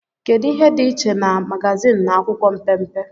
kedu ihe dị iche na magazin na akwụkwọ mpempe